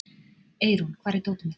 Eirún, hvar er dótið mitt?